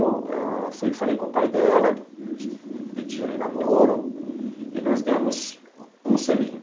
Eu fui e falei com o pai dela, pedi ele em namoro, e nós demos um selinho.